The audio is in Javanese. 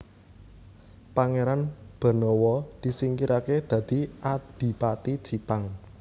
Pangéran Benawa disingkiraké dadi Adipati Jipang